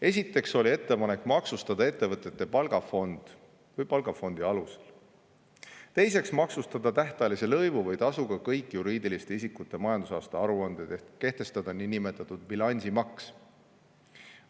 Esiteks oli ettepanek maksustada ettevõtete palgafond või palgafondi alused; teiseks, maksustada tähtajalise lõivu või tasuga kõik juriidiliste isikute majandusaasta aruanded ehk kehtestada niinimetatud bilansimaks.